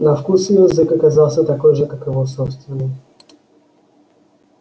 на вкус её язык оказался такой же как и его собственный